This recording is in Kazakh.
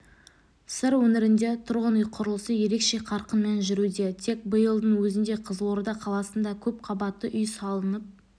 сыр өңірінде тұрғын үй құрылысы ерекше қарқынмен жүруде тек биылдың өзінде қызылорда қаласында көпқабатты үй салынып